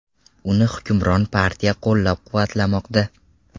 Uni hukmron partiya qo‘llab-quvvatlamoqda.